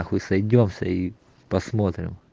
хуй сойдёмся и посмотрим